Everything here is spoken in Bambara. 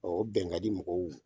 o bɛnkadi mɔgɔw